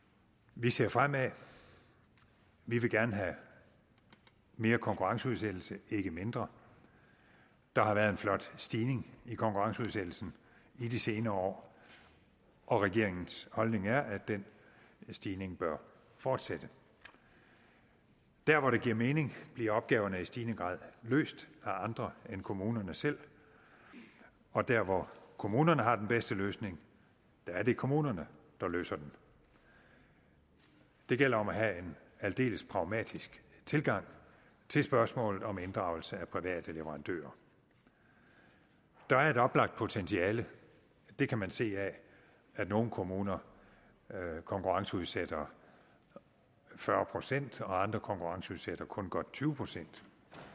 vi ser fremad og vi vil gerne have mere konkurrenceudsættelse ikke mindre der har været en flot stigning i konkurrenceudsættelsen i de senere år og regeringens holdning er at den stigning bør fortsætte der hvor det giver mening bliver opgaverne i stigende grad løst af andre end kommunerne selv og der hvor kommunerne har den bedste løsning er det kommunerne der løser den det gælder om at have en aldeles pragmatisk tilgang til spørgsmålet om inddragelse af private leverandører der er et oplagt potentiale det kan man se af at nogle kommuner konkurrenceudsætter fyrre procent og andre konkurrenceudsætter kun godt tyve procent